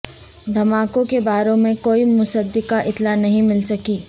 دھماکوں کے بارے میں کوئی مصدقہ اطلاع نہیں مل سکی